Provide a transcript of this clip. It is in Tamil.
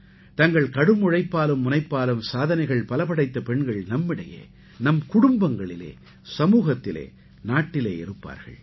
தங்கள் கடும் உழைப்பாலும் முனைப்பாலும் சாதனைகள் பல படைத்த பெண்கள் நம்மிடையே நம் குடும்பங்களிலே சமூகத்திலே நாட்டிலே இருப்பார்கள்